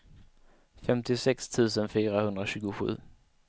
femtiosex tusen fyrahundratjugosju